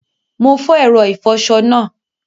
Mo fo èro ìfoso náà